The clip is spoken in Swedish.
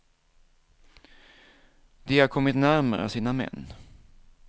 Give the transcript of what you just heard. De har kommit närmare sina män.